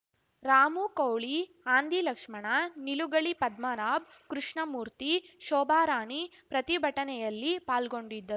ರಾಮುಕೌಳಿ ಹಾಂದಿ ಲಕ್ಷ್ಮಣ ನಿಲುಗಳಿ ಪದ್ಮನಾಭ್‌ ಕೃಷ್ಣಮೂರ್ತಿ ಶೋಭಾ ರಾಣಿ ಪ್ರತಿಭಟನೆಯಲ್ಲಿ ಪಾಲ್ಗೊಂಡಿದ್ದ